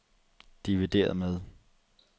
divideret med